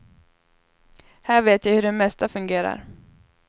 Här vet jag hur det mesta fungerar.